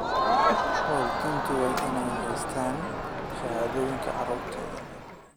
Waalidiintu waa inay haystaan ??shahaadooyinka carruurtooda.